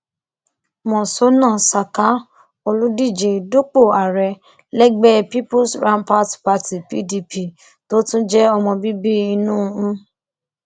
monsónà saka olùdíje dupò ààrẹ lẹgbẹ peoples rapat party pdp tó tún jẹ ọmọ bíbí inú m